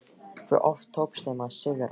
Hve oft tókst þeim að sigra?